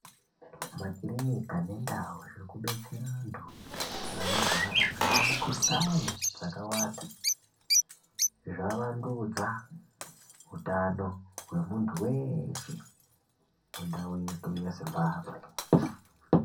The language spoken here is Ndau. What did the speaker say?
Makirinika nentau zviri kudetsera vantu vanorwara, vane mikhuhlani dzakawanda, zvavandudza utano hwemuntu weshe muntau yedu yeZimbabwe.